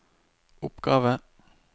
oppgave